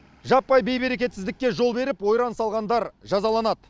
жаппай бейберекетсіздікке жол беріп ойран салғандар жазаланады